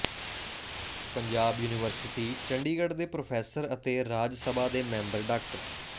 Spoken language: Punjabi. ਪੰਜਾਬ ਯੂਨੀਵਰਸਿਟੀ ਚੰਡੀਗੜ੍ਹ ਦੇ ਪ੍ਰੋਫੈੱਸਰ ਅਤੇ ਰਾਜ ਸਭਾ ਦੇ ਮੈਂਬਰ ਡਾ